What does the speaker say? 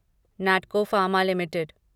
Natco Pharma limited